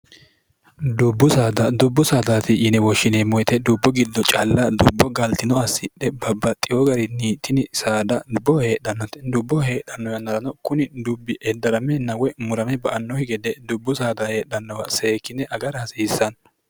dbbudubbu saataati yine woshshineemmoyite dubbo giddo calla dubbo gaalxino assidhe babbaxxiyoo gari niitini saada dubboho heedhannote dubboho heedhanno aarano kuni dubbi eddramennwe murame ba annohi gede dubbu saada heedhannowa seekine agara hasiissanno